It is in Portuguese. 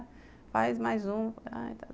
Faz mais um.